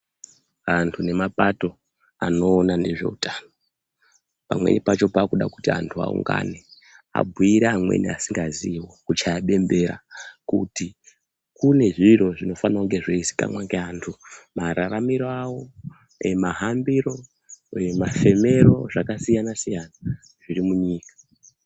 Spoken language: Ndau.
Antu nemabato anowona nezvehutano ,pamweni pacho pakutoda kuti anhu awungane ,abhuyirane amweni vanenge vasingazivi, kuchaya bembera kuti kune zviro zvinofanira kuziikanwa ngeantu, mararamiro awo, mahambiro uye mafemero zvakasiyan siyana zvirimunyika.